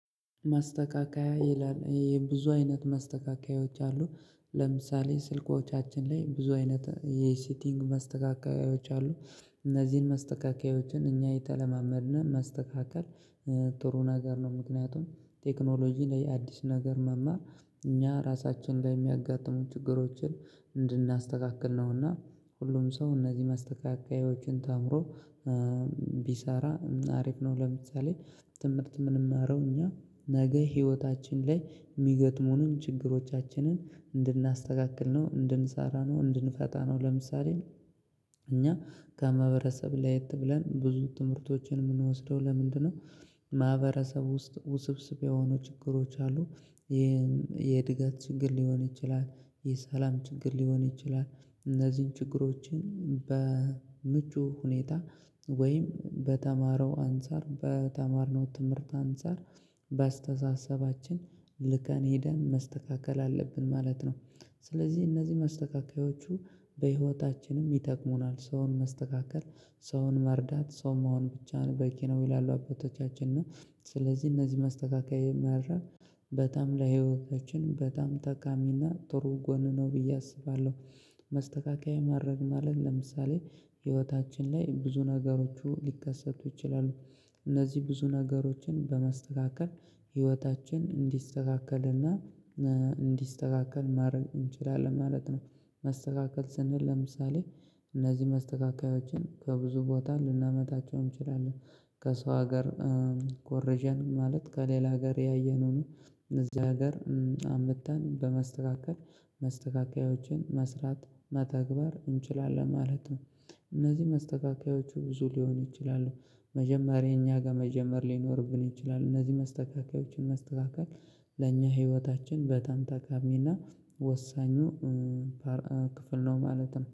ማስተካከያ ይላል ብዙ አይነት ማስተካከያዎች አሉ። ለምሳሌ ስልኮቻችን ላይ ብዙ አይነት የሴቲንግ ማስተካከያዎች አሉ። እነዚህን መስተካከያዎችን እኛ የተለማመድን ማስተካከል ጥሩ ነገር ነው። ምክንያቱም ቴክኖሎጂ ላይ አዲስ ነገር መማር እኛ ራሳችን ላይ የሚያጋጥሙን ችግሮችን እንድናስተካክል ነውና ሁሉም ሰው እነዚህ ማስተካከያዎችን ተምሮ ቢሰራ አሪፍ ነው። ለምሳሌ- ትምህርት ምንማረው እኛ ነገ ህይወታችን ላይ የሚገጥሙንን ችግሮቻችንን እንድናስተካክል ነው፤ እንድንሳራ ነው እንድንፈታ ነው። ለምሳሌ- እኛ ከማህበረሰብ ለየት ብለን ብዙ ትምህርቶችን የምንወስደው ለምንድነው ማህበረሰብ ውስጥ ውስብስብ የሆኑ ችግሮች አሉ። የእድገት ችግር ሊሆን ይችላል፥ የሰላም ችግር ሊሆን ይችላል፥ እነዚህን ችግሮችን በምቹ ሁኔታ ወይም በተማረው አንፃር፤ በተማርነው ትምህርት አንፃር በአስተሳሰባችን ልቀን ሄደን ማስተካከል አለብን ማለት ነው። ስለዚህ እነዚህ መስተካኪያዎቹ በህይወታችንም ይጠቅሙናል ሰውን መስተካከል ሰውን መርዳት ሰው መሆን ብቻን በቂ ነው ይላሉ አባቶቻችን ነው። ስለዚህ እነዚህ ማስተካከያ ማረም በጣም ለህይወታችን በጣም ተቃሚና ጥሩ ጎን ነው ብዬ አስባለሁ። መስተካከያ ማረም ማለት ለምሳሌ ህይወታችን ላይ ብዙ ነገሮቹ ሊከሰቱ ይችላሉ እነዚህ ብዙ ነገሮችን በማስተካከል ህይወታችን እንዲስተካከልና እንዲስተካከል ማድረግ እንችላለን ማለት ነው። መስተካከል ስንህን ለምሳሌ እነዚህ መስተካከያዎችን ከብዙ ቦታ ልናመጣቸው እንችላለን። ከሰው ሀገር ኮርዠን ማለት ከሌላ ሀገር ያየነውን እዚህ ሀገር አምጥተን በመስተካከል ማስተካከያዎችን መስራት መተግባር እንችላለን ማለት ነው። እነዚህ መስተካከያዎቹ ብዙ ሊሆን ይችላል መጀመሪያ እኛ ጋር መጀመር ሊኖርብን ይችላል። እነዚህ መስተካከያዎችን ማስተካከል ለኛ ህይወታችን በጣም ጠቃሚና ወሳኙ ክፍል ነው ማለት ነው።